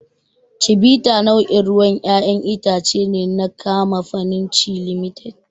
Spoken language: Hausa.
Chivita nau'in ruwan ƴaƴan itace ne na kamafanin Chi Limited.